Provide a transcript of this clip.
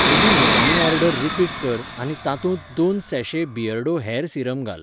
म्हजी निमाणी order repeat कर आनी तातूंत दोन सैैशे बियर्डो हेर सीरम घाल.